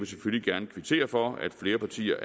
selvfølgelig gerne kvittere for at flere partier